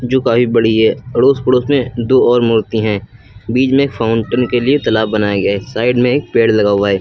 जो काफी बड़ी है अड़ोस पड़ोस में दो और मूर्ति हैं बीच में फाउंटेन के लिए तालाब बनाए गए साइड में एक पेड़ लगा हुआ है।